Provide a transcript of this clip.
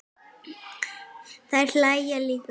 Þær hlæja líka.